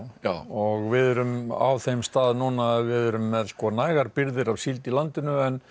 já og við erum á þeim stað núna að við erum með nægar birgðir af síld í landinu en